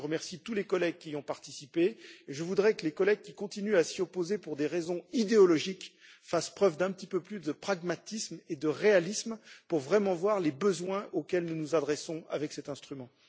Je remercie tous les collègues qui y ont participé et je voudrais que les collègues qui continuent à s'y opposer pour des raisons idéologiques fassent preuve d'un petit peu plus de pragmatisme et de réalisme pour vraiment voir les besoins auxquels nous répondons avec cet instrument.